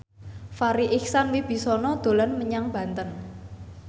Farri Icksan Wibisana dolan menyang Banten